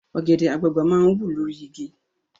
Ọ̀gẹ̀dẹ̀ àgbagbà máa ń wù lórí igi